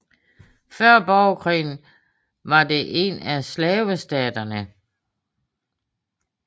Før Borgerkrigen var det en af slavestaterne